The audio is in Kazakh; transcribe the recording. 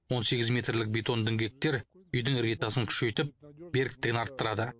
он сегіз метрлік бетон діңгектер үйдің іргетасын күшейтіп беріктігін арттырады